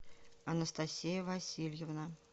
анастасия васильевна